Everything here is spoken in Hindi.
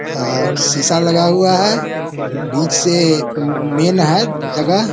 और शीशा लगा हुआ है बीच से मेन है जगह।